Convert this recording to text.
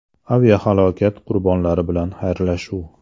Aviahalokat qurbonlari bilan xayrlashuv.